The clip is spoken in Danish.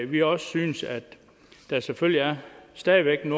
vi også synes at der selvfølgelig stadig væk er